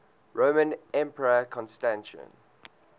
roman emperor constantine